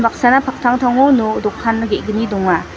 paktangtango no dokan ge·gni donga.